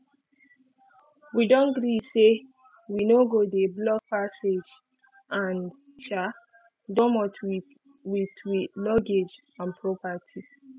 wi don gree say wi no go dey block passage and um domot wit wi luggage and properti